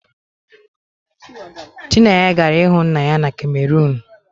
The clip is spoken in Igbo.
Chinenye gara ịhụ nna ya na kamerunu